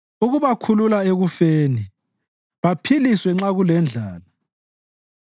ukubakhulula ekufeni baphiliswe lanxa kulendlala.